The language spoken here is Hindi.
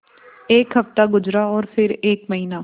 एक हफ़्ता गुज़रा और फिर एक महीना